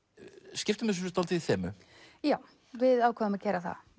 skiptum þessu dálítið í þemu já við ákváðum að gera það